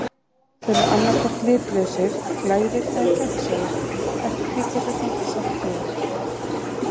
Þeir eru annað hvort litlausir, glærir eða gegnsæir eftir því hversu hreint saltið er.